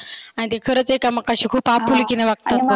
आणि ते खरच एकामेकांशी खुप आपुलकिने वागतात.